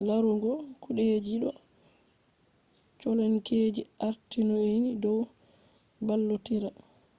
laruugo kudejidoo colonkeji artii nyonii dow ballotiraa